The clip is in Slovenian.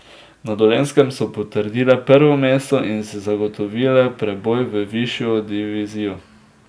Na Dolenjskem so potrdile prvo mesto in si zagotovile preboj v višjo divizijo.